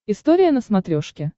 история на смотрешке